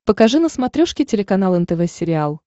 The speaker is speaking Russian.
покажи на смотрешке телеканал нтв сериал